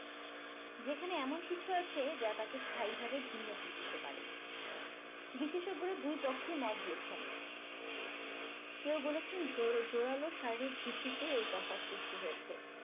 যেখানে এমন কিছু আছে যা তাকে স্থায়ীভাবে ভিন্ন করে দিতে পারে বিশেষজ্ঞরা দুই পক্ষেই মত দিয়েছেন কেউ বলেছেন জোড়ালো শারীরিক ভিত্তিতে এই তফাৎ সৃষ্টি হয়েছে